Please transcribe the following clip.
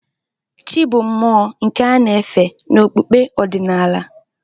Chị́ bụ mmụọ nke a na-efe n'okpukpe ọdịnala.